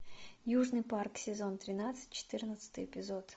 южный парк сезон тринадцать четырнадцатый эпизод